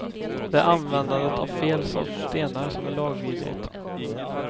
Det är användandet av fel sorts stenar som är lagvidrigt.